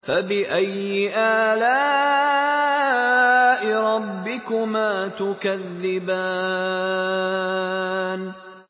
فَبِأَيِّ آلَاءِ رَبِّكُمَا تُكَذِّبَانِ